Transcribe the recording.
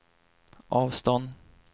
avstånd